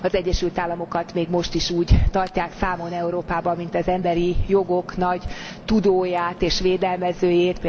Az Egyesült Államokat még most is úgy tartják számon Európában, mint az emberi jogok nagy tudóját és védelmezőjét.